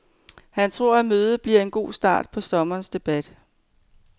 Han tror, at mødet bliver en god start på sommerens debat.